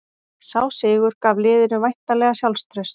Sá sigur gaf liðinu væntanlega sjálfstraust